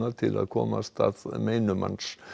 til að komast að meinum hans